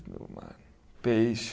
No mar. Peixe.